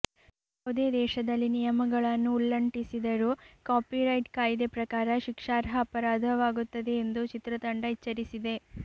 ಯಾವುದೇ ದೇಶದಲ್ಲಿ ನಿಯಮಗಳನ್ನು ಉಲ್ಲಂಟಿಸಿದರೂ ಕಾಪಿರೈಟ್ ಕಾಯಿದೆ ಪ್ರಕಾರ ಶಿಕ್ಷಾರ್ಹ ಅಪರಾಧವಾಗುತ್ತದೆ ಎಂದು ಚಿತ್ರತಂಡ ಎಚ್ಚರಿಸಿದೆ